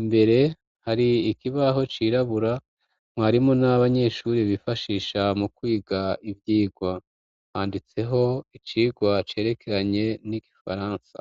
imbere hari ikibaho cirabura mwarimo n'abanyeshuri bifashisha mu kwiga ivyo irwa handitseho icirwa cerekeranye n'igifaransa.